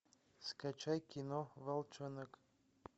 скачай кино волчонок